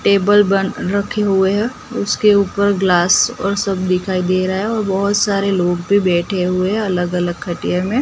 Table बन रखे हुए हैं उसके ऊपर ग्लास और सब दिखाई दे रहा है और बहोत सारे लोग भी बैठे हुए हैं अलग अलग खटिये में।